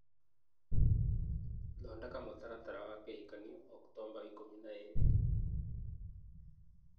thondeka mũtaratara wa kĩhikanio Oktomba ikũmi na ĩĩrĩ